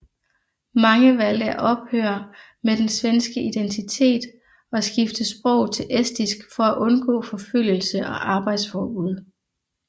Mange valgte at ophøre med den svenske identitet og skifte sprog til estisk for at undgå forfølgelse og arbejdsforbud